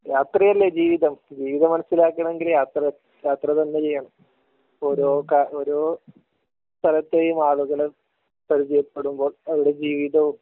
യാത്രയല്ലേ ജീവിതം ജീവിതം മനസിലാക്കണമെങ്കിൽ യാത്ര യാത്ര തന്നെ ചെയ്യണം. ഒരു ക ഒരു ഓരോ സ്ഥലത്തെയും ആളുകളെ പരിജയപ്പെടുമ്പോൾ അവരുടെ ജീവിതവും